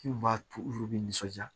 Min b'a to olu bɛ nisɔnjaa